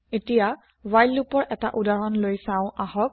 এতিয়া হোৱাইল লোপৰ এটা উদাহৰণ লৈ চাও আহক